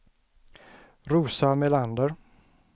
Rosa Melander